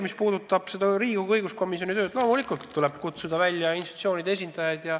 Mis puudutab Riigikogu õiguskomisjoni tööd, siis loomulikult tuleb parlamenti kohale kutsuda institutsioonide esindajaid.